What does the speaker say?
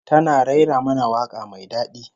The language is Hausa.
Tana rera mana waka mai dadi